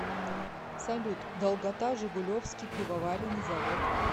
салют долгота жигулевский пивоваренный завод